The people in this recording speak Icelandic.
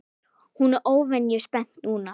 Hún er óvenju spennt núna.